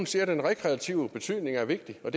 siger at den rekreative betydning er vigtig hvad